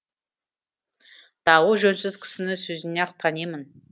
дауы жөнсіз кісіні сөзінен ақ танимын